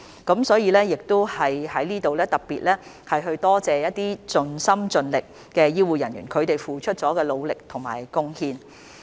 因此，我在這裏也要特別多謝一些盡心盡力的醫護人員所付出的努力和貢獻。